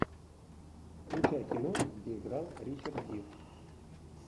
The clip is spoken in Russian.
включай киношку где играл ричард гир